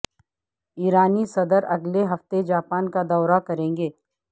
ایرانی صدر اگلے ہفتے جاپان کا دورہ کریں گے